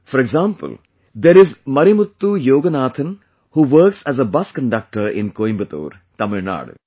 For example, there isMarimuthuYoganathan who works as a bus conductor in Coimbatore, Tamil Nadu